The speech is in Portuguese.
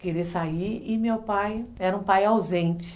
querer sair e meu pai era um pai ausente.